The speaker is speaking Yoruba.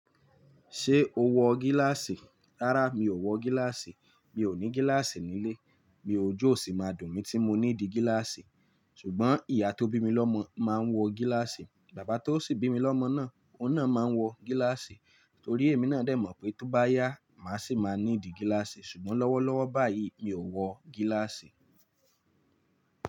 Ṣé o wọ gíláàsì? Rárá, mi ò wọ gíláàsì. Mi ò ní gíláàsì nílé, bí ojú ò sì máa dùn mí tí mo ní di gíláàsì. Ṣùgbọ́n ìyá tó bí mi lọ́mọ máa ń wọ gíláàsì, bàbá tó sì bí mi lọ́mọ náà ó náà máa ń wọ gíláàsì torí èmi náà dè mọ̀ pé tó bá yá, mà sì máa ní di gíláàsì. Ṣùgbọ́n lọ́wọ́lọ́wọ́ báyìí, mi ò wọ gíláàsì.